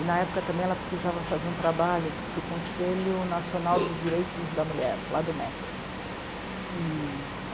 E, na época, também ela precisava fazer um trabalho para o Conselho Nacional dos Direitos da Mulher, lá do mê é cê.